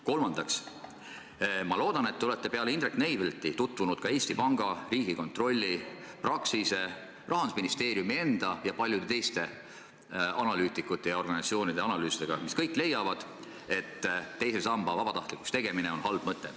Kolmandaks, ma loodan, et te olete peale Indrek Neivelti seisukohtade tutvunud ka Eesti Panga, Riigikontrolli, Praxise, Rahandusministeeriumi enda ja paljude teiste analüütikute ja organisatsioonide analüüsidega, milles kõigis leitakse, et teise samba vabatahtlikuks tegemine on halb mõte.